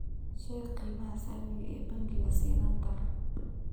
sheeg qiimaha saamiga ee bangiga sinnaanta